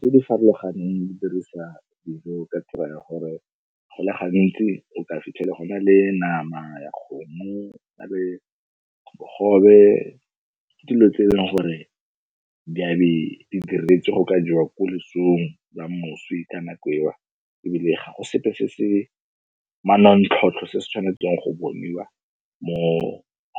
tse di farologaneng di dirisa dijo ka tiro ya gore go le gantsi o ka fitlhela go na le nama ya kgomo go na le bogobe. Ke dilo tse e leng gore di a be di diretswe go ka jewa ko losong lwa moswi ka nako ewa ebile ga go sepe se se manontlhotlho se se tshwanetseng go boniwa moo,